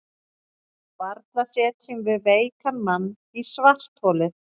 Varla setjum við veikan mann í svartholið?